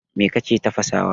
Me kake tafasawa?